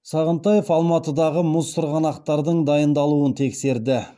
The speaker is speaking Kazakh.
сағынтаев алматыдағы мұз сырғанақтардың дайындалуын тексерді